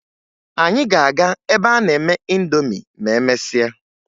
Anyị ga-aga ebe a na-eme ịndomi ma emesịa